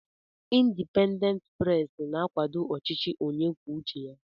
Indipendent pres na-akwàdó ọchịchị onye kwuo uche ya.